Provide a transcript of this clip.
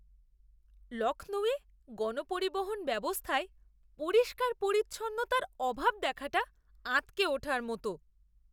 লখনউয়ে গণপরিবহন ব্যবস্থায় পরিষ্কার পরিচ্ছন্নতার অভাব দেখাটা আঁতকে ওঠার মতো!